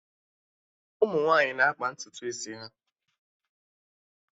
Ụmụ nwaanyị na-akpa ntutu isi ha